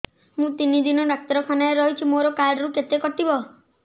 ମୁଁ ତିନି ଦିନ ଡାକ୍ତର ଖାନାରେ ରହିଛି ମୋର କାର୍ଡ ରୁ କେତେ କଟିବ